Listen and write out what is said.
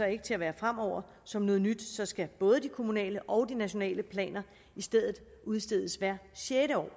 ikke til at være fremover som noget nyt skal både de kommunale og de nationale planer i stedet udstedes hvert sjette år